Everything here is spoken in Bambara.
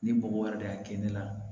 Ni mɔgɔ wɛrɛ de y'a kɛ ne la